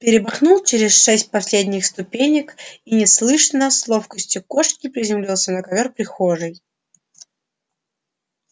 перемахнул через шесть последних ступенек и неслышно с ловкостью кошки приземлился на ковёр прихожей